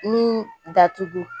Min datugu